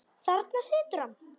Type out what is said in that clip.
Þarna situr hann.